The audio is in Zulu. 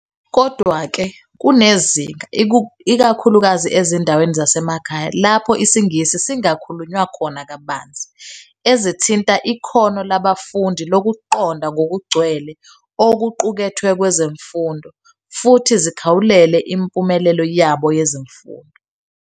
Kodwa-ke, kunezinkinga, ikakhulukazi ezindaweni zasemakhaya lapho isiNgisi singakhulunywa khona kabanzi, ezithinta ikhono labafundi lokuqonda ngokugcwele okuqukethwe kwezemfundo futhi zikhawulele impumelelo yabo yezemfundo.